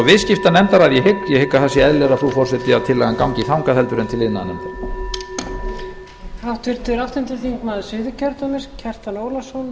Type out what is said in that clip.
viðskiptanefndar að ég hygg ég hygg að það sé eðlilegra frú forseti að tillagan gangi þangað heldur en til iðnaðarnefndar